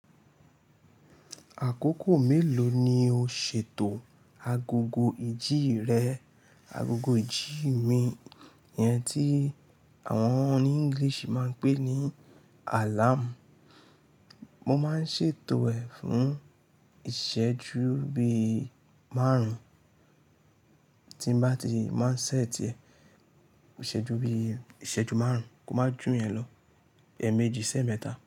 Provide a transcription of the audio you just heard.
Àkókò mélòó ni o ṣètò agogo ìjì rẹ? Agogo ìjì mi, ìyẹn tí àwọn oní English máa ń pè ní alarm. Mo máa ń ṣètò ẹ̀ fún ìṣẹ́jú bí márùn-ún. Tí bá ti n máa ń set ẹ̀, ìṣẹ́jú bí ìṣẹ́jú márùn-ún, kó máa jù yẹn lọ, ẹ̀ méjì sẹ́ẹ̀mẹ́ta.